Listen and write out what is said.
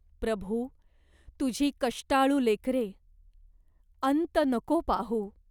प्रभू, तुझी कष्टाळू लेकरे. अंत नको पाहू.